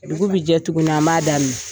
Dugu bi jɛ tuguni an b'a daminɛ.